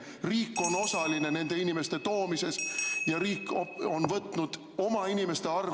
Riik on osaline nende inimeste toomises ja riik on võtnud oma inimeste arvel ...